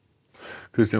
Kristján